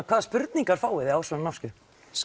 hvaða spurningar fáið þið á svona námskeiðum